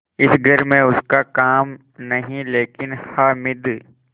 इस घर में उसका काम नहीं लेकिन हामिद